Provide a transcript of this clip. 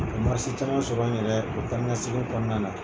Ka caman sɔrɔ n yɛrɛ u taa ni ka segin kɔnɔna na.